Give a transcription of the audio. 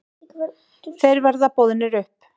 Þeir verða boðnir upp.